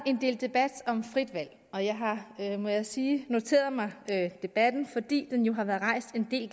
en del debat om frit valg og jeg har må jeg sige noteret mig debatten fordi den jo har været rejst en del